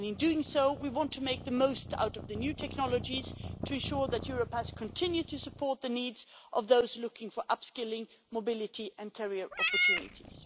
In doing so, we want to make the most of the new technologies to ensure that Europass continues to support the needs of those looking for upskilling, mobility and career opportunities.